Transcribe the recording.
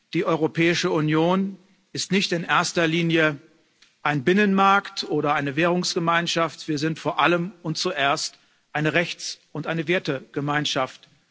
Die Europäische Union ist nicht in erster Linie ein Binnenmarkt oder eine Währungsgemeinschaft, wir sind vor allem und zuerst eine Rechts und eine Wertegemeinschaft.